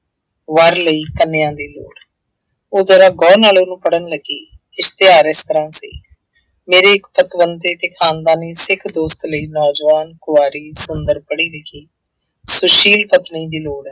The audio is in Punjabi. ਵਰ ਲਈ ਕੰਨਿਆ ਦੀ ਲੋੜ ਹੈ। ਉਹ ਜ਼ਰਾ ਗਹੁ ਨਾਲ ਉਹਨੂੰ ਪੜ੍ਹਨ ਲੱਗੀ, ਇਸ਼ਤਿਹਾਰ ਇਸ ਤਰ੍ਹਾਂ ਸੀ, ਮੇਰੇ ਇੱਕ ਪਤਵੰਤੇ ਅਤੇ ਖਾਨਦਾਨੀ ਸਿੱਖ ਦੋਸਤ ਲਈ ਨੌਜਵਾਨ ਕੁਆਰੀ ਸੁੰਦਰ ਪੜ੍ਹੀ ਲਿਖੀ ਸੁਸ਼ੀਲ ਪਤਨੀ ਦੀ ਲੋੜ ਹੈ।